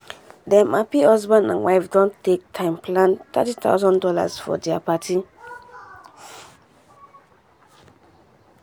dem happy husband and wife don take time plan three thousand dollars0 for dia party.